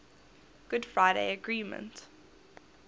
good friday agreement